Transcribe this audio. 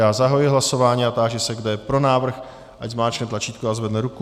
Já zahajuji hlasování a táži se, kdo je pro návrh, ať zmáčkne tlačítko a zvedne ruku.